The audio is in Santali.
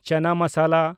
ᱪᱟᱱᱟ ᱢᱟᱥᱟᱞᱟ